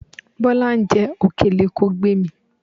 Bọ́lá ń jẹ òkèlè, kò gbé e mì.